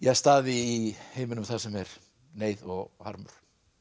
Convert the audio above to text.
staði í heiminum þar sem er neyð og harmur